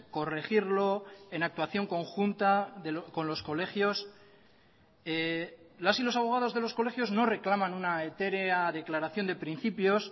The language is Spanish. corregirlo en actuación conjunta con los colegios las y los abogados de los colegios no reclaman una etérea declaración de principios